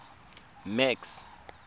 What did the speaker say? max